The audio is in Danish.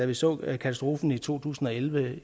vi så katastrofen i to tusind og elleve